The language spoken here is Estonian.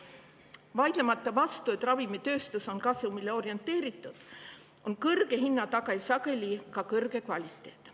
Ma ei vaidle vastu, et ravimitööstus on kasumile orienteeritud, aga kõrge hinna taga on sageli ka kõrge kvaliteet.